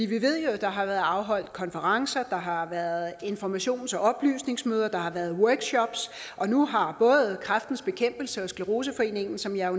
vi ved jo at der har været afholdt konferencer der har været informations og oplysningsmøder og der har været workshops nu har både kræftens bekæmpelse og scleroseforeningen som jeg